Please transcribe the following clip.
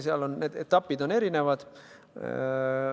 Seal on erinevad etapid.